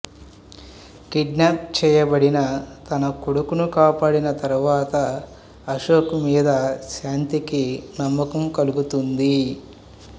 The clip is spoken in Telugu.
కిడ్నాప్ చేయబడిన తన కొడుకును కాపాడిన తర్వాత అశోక్ మీద శాంతికి నమ్మకం కలుగుతుంది